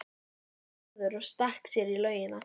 sagði Gerður og stakk sér í laugina.